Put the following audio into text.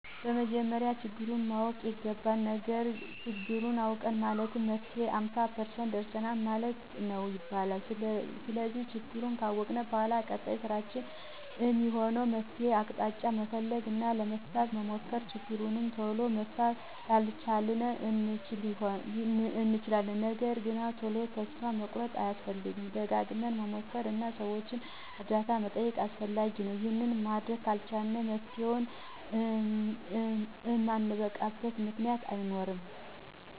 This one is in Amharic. በመጀመሪያ ችግሩን ማወቅ ይገባል። ችግሩን አወቅን ማለት ለመፍትሄው ሃምሳ ፐርሰንት ደርሰናል ማለት ነው ይባላል። ስለዚህ ችግሩን ካወቅን በኃላ ቀጣይ ስራችን እሚሆነው የመፍትሄ አቅጣጫ መፈለግ እና ለመፍታት መሞከር። ችግሩን ቶሎ መፍታት ላንችል እንችላለን ነገርግን ቶሎ ተስፋ መቁረጥ አያስፈልግም። ደጋግመን መሞከር እና የሠዎችን እርዳታ መጠየቅ አስፈላጊ ነው። ይሄን ማድረግ ከቻልን ለመፍትሄው እማንበቃበት ምክንያት አይኖርም።